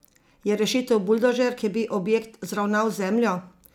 Je rešitev buldožer, ki bi objekt zravnal z zemljo?